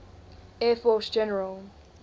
air force general